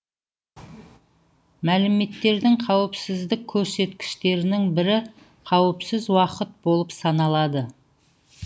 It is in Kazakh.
мәліметтердің қауіпсіздік көрсеткіштерінің бірі қауіпсіз уақыт болып саналады